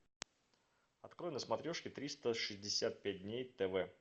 открой на смотрешке триста шестьдесят пять дней тв